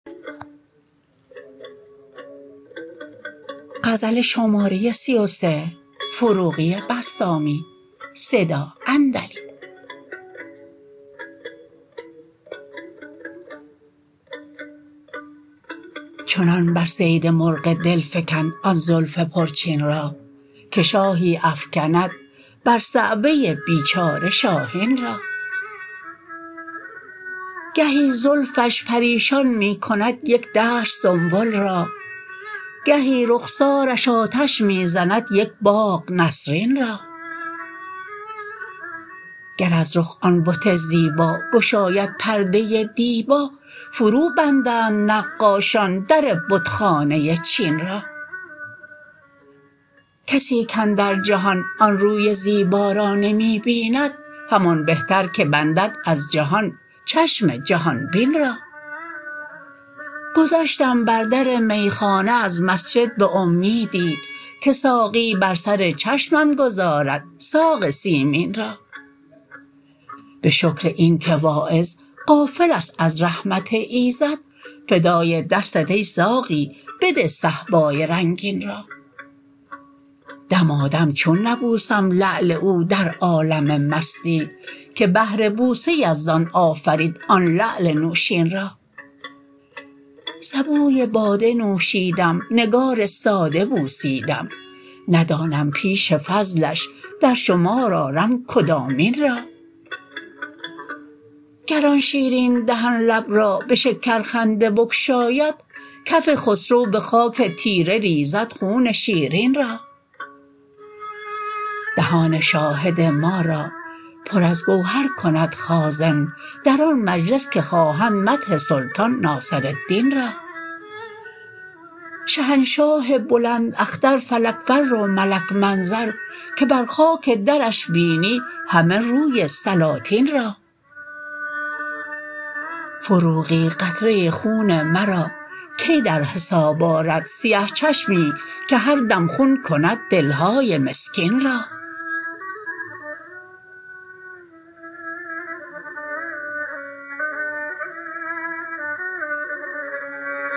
چنان بر صید مرغ دل فکند آن زلف پرچین را که شاهی افکند بر صعوه بیچاره شاهین را گهی زلفش پریشان می کند یک دشت سنبل را گهی رخسارش آتش می زند یک باغ نسرین را گر از رخ آن بت زیبا گشاید پرده دیبا فرو بندند نقاشان در بت خانه چین را کسی کاندر جهان آن روی زیبا را نمی بیند همان بهتر که بندد از جهان چشم جهان بین را گذشتم بر در میخانه از مسجد به امیدی که ساقی بر سر چشمم گذارد ساق سیمین را به شکر این که واعظ غافل است از رحمت ایزد فدای دستت ای ساقی بده صهبای رنگین را دمادم چون نبوسم لعل او در عالم مستی که بهر بوسه یزدان آفرید آن لعل نوشین را سبوی باده نوشیدم نگار ساده بوسیدم ندانم پیش فضلش در شمار آرم کدامین را گر آن شیرین دهن لب را به شکر خنده بگشاید کف خسرو به خاک تیره ریزد خون شیرین را دهان شاهد ما را پر از گوهر کند خازن در آن مجلس که خواهند مدح سلطان ناصرالدین را شهنشاه بلند اختر فلک فر و ملک منظر که بر خاک درش بینی همه روی سلاطین را فروغی قطره خون مرا کی در حساب آرد سیه چشمی که هر دم خون کند دلهای مسکین را